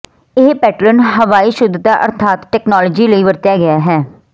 ਇਸ ਪੈਟਰਨ ਹਵਾਈ ਸ਼ੁਧਤਾ ਅਰਥਾਤ ਤਕਨਾਲੋਜੀ ਲਈ ਵਰਤਿਆ ਗਿਆ ਹੈ